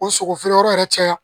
O sogo feere yɔrɔ yɛrɛ caya